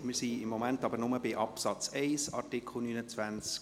Wir sind im Moment aber nur bei Absatz 1 von Artikel 29.